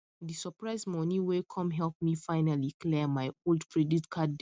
di surprise money wey come help me finally clear my old credit card debt